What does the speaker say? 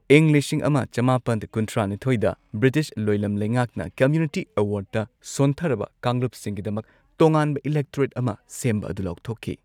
ꯏꯪ ꯂꯤꯁꯤꯡ ꯑꯃ ꯆꯃꯥꯄꯟ ꯀꯨꯟꯊ꯭ꯔꯥ ꯅꯤꯊꯣꯏꯗ ꯕ꯭ꯔꯤꯇꯤꯁ ꯂꯣꯢꯂꯝ ꯂꯩꯉꯥꯛꯅ ꯀꯝꯃ꯭ꯌꯨꯅꯤꯇꯤ ꯑꯦꯋꯥꯔꯗꯇ ꯁꯣꯟꯊꯔꯕ ꯀꯥꯡꯂꯨꯞꯁꯤꯡ ꯒꯤꯗꯃꯛ ꯇꯣꯉꯥꯟꯕ ꯏꯂꯦꯛꯇꯣꯔꯦꯠ ꯑꯃꯥ ꯁꯦꯝꯕ ꯑꯗꯨ ꯂꯥꯎꯊꯣꯛꯈꯤ꯫